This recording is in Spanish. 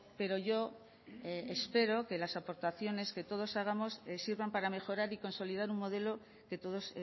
pero yo espero que las aportaciones que todos hagamos sirvan para mejorar y consolidar un modelo que todos